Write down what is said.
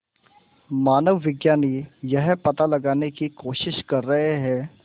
मानवविज्ञानी यह पता लगाने की कोशिश कर रहे हैं